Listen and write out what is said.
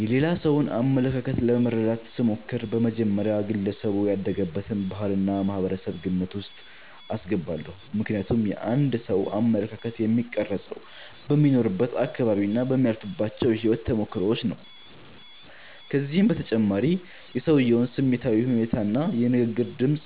የሌላ ሰውን አመለካከት ለመረዳት ስሞክር፣ በመጀመሪያ ግለሰቡ ያደገበትን ባህልና ማህበረሰብ ግምት ውስጥ አስገባለሁ። ምክንያቱም የአንድ ሰው አመለካከት የሚቀረፀው በሚኖርበት አካባቢና በሚያልፍባቸው የህይወት ተሞክሮዎች ነው። ከዚህም በተጨማሪ የሰውየውን ስሜታዊ ሁኔታና የንግግር ድምፅ